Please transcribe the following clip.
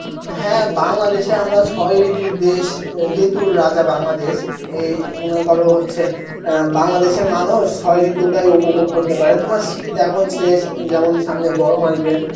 হ্যাঁ বাংলাদেশে আমরা ছয় ঋতুর দেশ, ঋতুর রাজা বাংলাদেশ, এই মনে কর হচ্ছে অ্যাঁ বাংলাদেশের মানুষ, ছয় ঋতুটাই উপভোগ করতে পারে তোমার শীত এখন শেষ, যেমন সামনে গরম আসবে